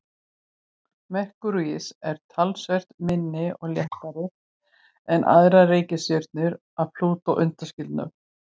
Merkúríus er talsvert minni og léttari en aðrar reikistjörnur að Plútó undanskildum.